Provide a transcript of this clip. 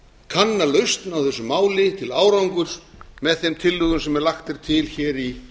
kanna lausn á þessu máli til árangurs með þeim tillögum sem lagðar eru til í